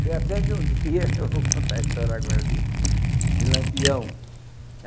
Foi até que um dia, eu vou contar a história agora, de de Lampião.